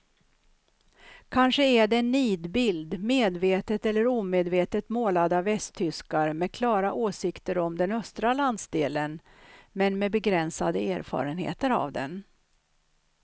Kanske är det en nidbild medvetet eller omedvetet målad av västtyskar med klara åsikter om den östra landsdelen men med begränsade erfarenheter av den.